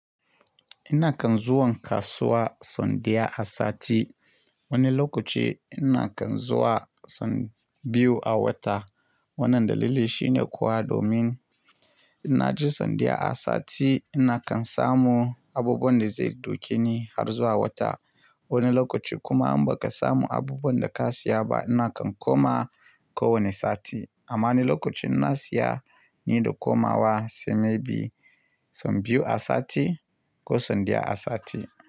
Ina kan zuwan kasuwa son daya a sati. Wani lokaci ina kan zuwa son biyu a wata. Wannan dalili shine kuwa domin ina ji son daya a sati, ina kan samun abubuwan da zai doke ni har zuwa wata. Wani lokaci kuma in ba ka samu abubuwan da ka siya ba, ina kan koma, ko wane sati. Amma wani lokacin in na siya, ni da komawa, sai may be son biyu a sati ko son daya a sati.